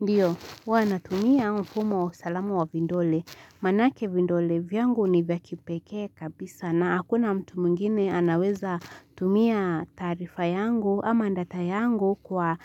Ndio, huwa natumia mfumo usalama wa vidole. Maanake vidole, vyangu ni vya kipeke kabisa na hakuna mtu mwingine anaweza tumia taarifa yangu ama data yangu kwa